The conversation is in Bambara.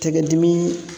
Tɛgɛ dimi